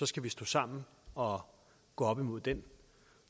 skal vi stå sammen og gå op imod den